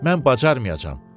Mən bacarmayacam.